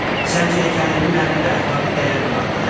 Səncə hekayənin mənəvi əxlaqi dəyəri vardı, hə?